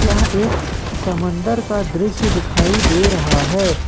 यह एक समंदर का दृश्य दिखाई दे रहा है।